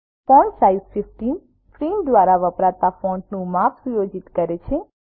font size 15 print દ્વારા વપરાતા ફોન્ટનું માપ સુયોજિત કરે છે